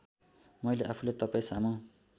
मैले आफूलाई तपाईँसामु